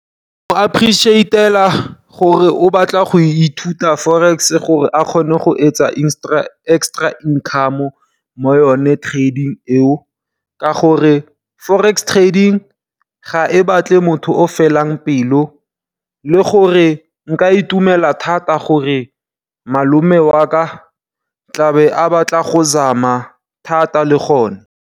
Ke mo appreciate-la gore o batla go ithuta Forex gore a kgone go etsa extra income mo yone trading eo. Ka gore Forex trading ga e batle motho o felang pelo. Le gore nka itumela thata gore malome wa ka o tla be a batla go zama thata le gone.